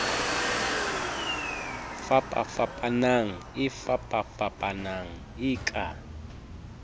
fapafapanang e fapafapanang e ka